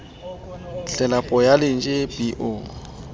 tlelapo ya lantjhe b o